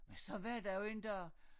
Men så var der jo en dag